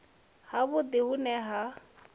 ha vhudi hu ne ha